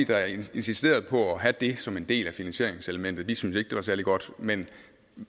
der insisterede på at have det som en del af finansieringselementet vi syntes ikke det var særlig godt men